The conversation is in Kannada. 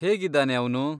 ಹೇಗಿದ್ದಾನೆ ಅವ್ನು?